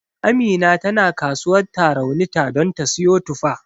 Amina tana kasuwar Tarauni ta don ta siyo tufa.